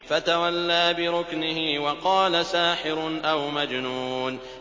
فَتَوَلَّىٰ بِرُكْنِهِ وَقَالَ سَاحِرٌ أَوْ مَجْنُونٌ